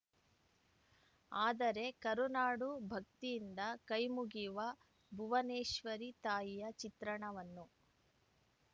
ಆದರೆ ಕರುನಾಡು ಭಕ್ತಿಯಿಂದ ಕೈಮುಗಿವ ಭುವನೇಶ್ವರಿ ತಾಯಿಯ ಚಿತ್ರಣವನ್ನು